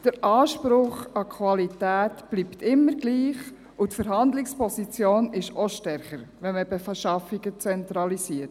Der Anspruch an die Qualität bleibt immer gleich, und die Verhandlungsposition ist auch stärker, wenn man Beschaffungen zentralisiert.